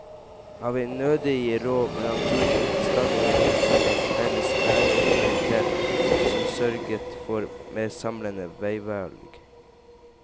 Han vil nødig gi råd, men han tror protestantene kunne trenge en felles læreautoritet, som sørget for mer samlende veivalg.